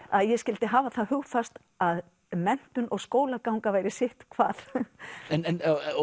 að ég skyldi hafa það hugfast að menntun og skólaganga væri sitt hvað